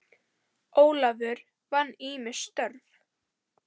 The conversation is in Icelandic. Ólafur vann ýmis störf.